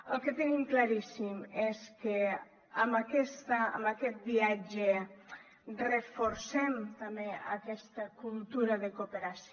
el que tenim claríssim és que amb aquest viatge reforcem també aquesta cultura de cooperació